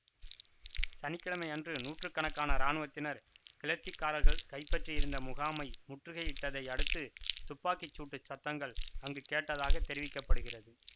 சனி கிழமை அன்று நூற்று கணக்கான இராணுவத்தினர் கிளர்ச்சிக்காரர்கள் கைப்பற்றியிருந்த முகாமை முற்றுகையிட்டதை அடுத்து துப்பாக்கி சூட்டுச் சத்தங்கள் அங்கு கேட்டதாகத் தெரிவிக்க படுகிறது